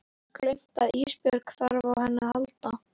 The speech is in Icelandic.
Gleymt að Ísbjörg þarf á henni að halda.